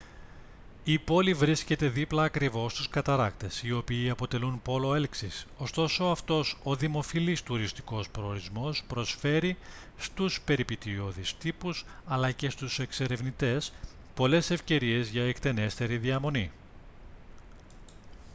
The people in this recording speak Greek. η πόλη βρίσκεται δίπλα ακριβώς στους καταρράκτες οι οποίοι αποτελούν πόλο έλξης ωστόσο αυτός ο δημοφιλής τουριστικός προορισμός προσφέρει στους περιπετειώδεις τύπους αλλά και στους εξερευνητές πολλές ευκαιρίες για εκτενέστερη διαμονή